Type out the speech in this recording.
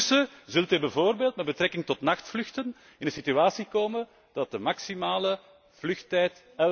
En intussen zult u bijvoorbeeld met betrekking tot nachtvluchten in een situatie komen dat de maximale vluchttijd